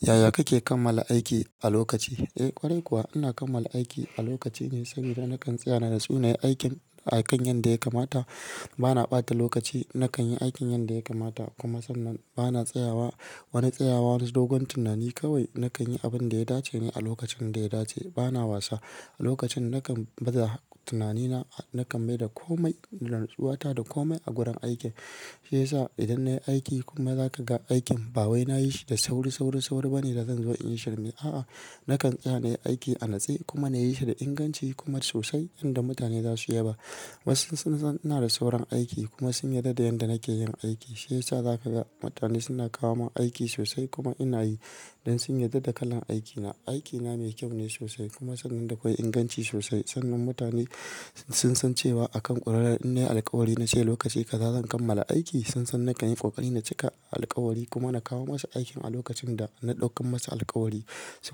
Yaya kake kammala aiki a lokaci? Eh ƙwarai kuwa ina kammala aiki a lokaci ne saboda nakan tsaya na natsu nayi aikin a kan yadda ya kamata. Bana ɓata lokaci nakan yi aikin yadda ya kamata kuma sannan bana tsayawa wani tsayawa wani dogon tunani kawai nakan yi abin da ya dace ne a lokacin da ya dace. Bana wasa a lokacin nakan baza tunanina nakan mai da komai, rantsuwa ta da komai a gurin aiki. Shi yasa idan nayi aiki kuma za ka ga aikin bawwai nayi shi da sauri, sauri, sauri bane da zan zo in shirya. A'a, nakan tsaya nayi aiki a natsai kuma nayi shi da inganci kuma sosai inda mutane za su yaba. Wasu sun san ina da saurin aiki kuma sun yarda da yanda nake yin aiki. Shi yasa zaka ga mutane suna kawo mun aiki sosai kuma ina yi don sun yarda da kalan aikina. Aikina mai kyau ne sosai kuma sannan dakwai inganci sosai sannan mutane sun san cewa akan ƙwarai in nayi alkawari na ce lokaci kazazen kammala aiki. Sun san nakan yi ƙoƙari na cika alkawari kuma na kawo masa aikin a lokacin da na ɗaukan masu alkawari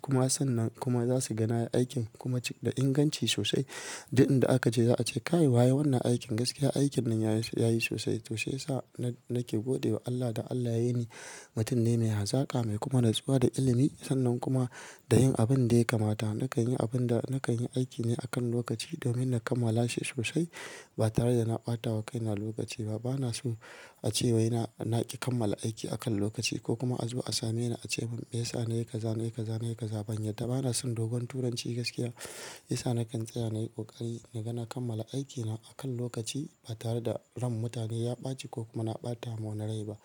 kuma sannan kuma za su ganaya aikin kuma cik da inganci sosai. Duk inda aka je za a ce kai waye ya yi wannan aikin gaskiya, aikin nan ya yi sosai. To shi yasa nake gode wa Allah da Allah ya yi ni mutum ne mai hazaka mai kuma rantsuwa da ilimi sannan kuma da yin abun da ya kamata. Nakan yi abin da nakan yi aiki ne akan lokaci domin na kammala shi sosai ba tare da na ɓata wa kaina lokaci ba. Bana so a ce wai na, na ki kammala aiki akan lokaci ko kuma a zo a same ni a ce miyasa nayi kaza, nayi kaza, nayi kaza ban ya. Da bana son dogon turanci gaskiya. Shi yasa nakan tsaya nayi ƙoƙari na ganin kammala aikina akan lokaci ba tare da ran mutane ya ɓaci ko kuma na ɓata ma na rai ba.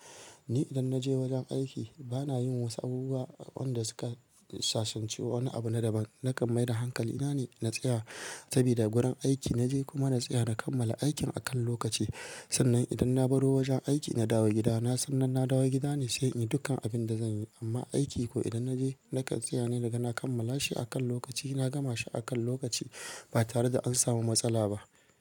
Ni idan naje wajen aiki bana yin wasu abubuwa wanda suka sasancewa wani abu na daban. Nakan mai da hankali na ne na tsaya sabida gurin aiki naje kuma na tsaya na kammala aikin akan lokaci. Sannan idan na baro wajen aiki na dawo gida na sannan na dawo gida ne sai in yi dukkan abin da zan yi. Amma aiki ko idan naje nakan tsaya ne da ganin na kammala shi akan lokaci na gama shi akan lokaci ba tare da an samu matsala ba.